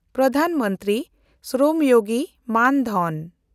ᱯᱨᱚᱫᱷᱟᱱ ᱢᱚᱱᱛᱨᱤ ᱥᱨᱚᱢ ᱭᱳᱜᱤ ᱢᱟᱱ-ᱫᱷᱚᱱ